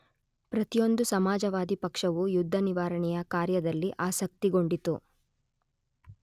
ಪ್ರತಿಯೊಂದು ಸಮಾಜವಾದಿ ಪಕ್ಷವೂ ಯುದ್ಧನಿವಾರಣೆಯ ಕಾರ್ಯದಲ್ಲಿ ಆಸಕ್ತಿಗೊಂಡಿತು.